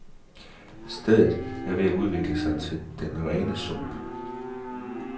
Stedet er ved at udvikle sig til den rene sump.